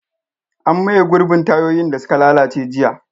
An maye gurbin tayoyin da suka lalace jiya.